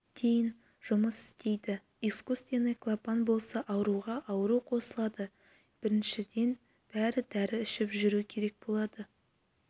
дейін жұмыс істейді искусственный клапан болса ауруға ауру қосылады біріншіден дәрі ішіп жүру керек болады